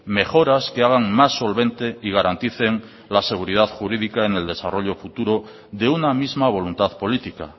mejoras que hagan más solvente y garanticen la seguridad jurídica en el desarrollo futuro de una misma voluntad política